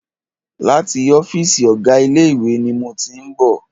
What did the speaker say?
Láti ọ́fìsì ọ̀gá ilé ìwé ni mo tí ń bọ̀.